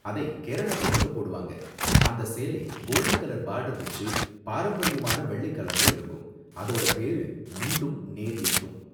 அதை கேரளா பொண்ணுங்க போடுவாங்க, அந்த சேலை கோல்ட் கலர் பார்டர் வெச்சு பாரம்பரியமான வெள்ளை கலர்ல இருக்கும், அதோட பேரு முண்டும் நேரியத்தும்.